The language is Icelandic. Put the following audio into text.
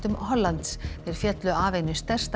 Hollands þeir féllu af einu stærsta